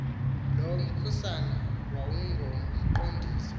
lo mkhusane wawungumqondiso